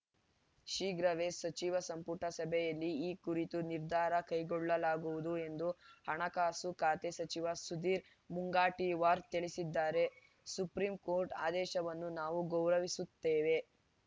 ಶೀಘ್ರವೇ ಸಚಿವ ಸಂಪುಟ ಸಭೆಯಲ್ಲಿ ಈ ಕುರಿತು ನಿರ್ಧಾರ ಕೈಗೊಳ್ಳಲಾಗುವುದು ಎಂದು ಹಣಕಾಸು ಖಾತೆ ಸಚಿವ ಸುಧೀರ್‌ ಮುಂಗಂಟಿವಾರ್‌ ತಿಳಿಸಿದ್ದಾರೆ ಸುಪ್ರೀಂಕೋರ್ಟ್‌ ಆದೇಶವನ್ನು ನಾವು ಗೌರವಿಸುತ್ತೇವೆ